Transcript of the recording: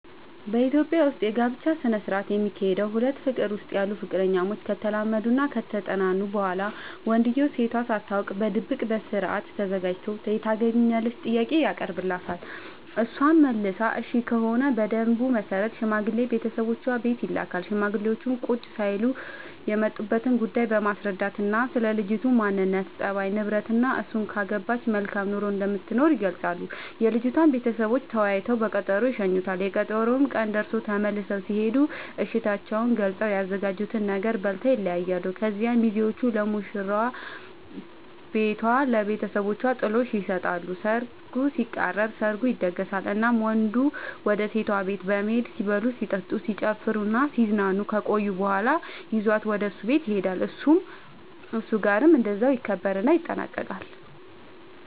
በኢትዮጵያ ዉስጥ የጋብቻ ስነ ስርዓት የሚካሄደዉ ሁለት ፍቅር ዉስጥ ያሉ ፍቅረኛሞች ከተላመዱናከተጠናኑ በኋላ ወንድዬው ሴቷ ሳታውቅ በድብቅ በስርአት ተዘጋጅቶ የታገቢኛለሽ ጥያቄ ያቀርብላታል እሷም መልሷ እሽ ከሆነ በደንቡ መሰረት ሽማግሌ ቤተሰቦቿ ቤት ይልካል ሽማግሌዎቹም ቁጭ ሳይሉ የመጡበትን ጉዳይ በማስረዳትናስለ ልጅቱ ማንነት፣ ፀባይ፤ ንብረትናእሱን ካገባች መልካም ኑሮ እንደምትኖር ይገልጻሉ። የልጅቷም ቤተሰቦች ተወያይተው በቀጠሮ ይሸኙዋቸዋል፤ የቀጠሮው ቀን ደርሶ ተመልሰው ሲሄዱ እሽታቸውን ገልፀው፤ ያዘጋጁትን ነገር በልተው ይለያያሉ። ከዚያ ሚዜዎቹ ለሙሽራዋ ቤቷ ለብተሰቦቿ ጥሎሽ ይሰጣሉ ሰርጉ ሲቃረብ፤ ሰርጉ ይደገሳል እናም ወንዱ ወደ ሴቷ ቤት በመሄድ ሲበሉ ሲጠጡ፣ ሲጨፍሩናሲዝናኑ ከቆዩ በኋላ ይዟት ወደ እሱ ቤት ይሄዳሉ እሱም ጋር እንደዛው ይከበርና ይጠናቀቃል